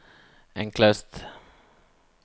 enklest